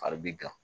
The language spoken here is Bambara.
Fari bi ja